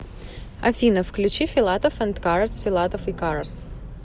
афина включи филатов энд карас филатов и карас